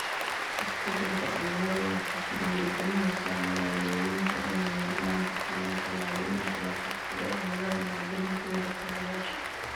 Isbeddelka cimiladu waxay ku dhiirigelinaysaa magaalooyinka inay mudnaanta siiyaan tallaabooyinka la qabsiga cimilada maalgelintooda kaabayaasha.